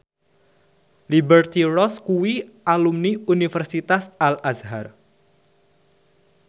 Liberty Ross kuwi alumni Universitas Al Azhar